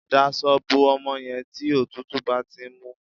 Dasọ bo ọmọ yẹn tí òtútù bá ti ń mú